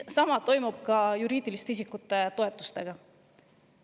Sama on juriidiliste isikute toetustega.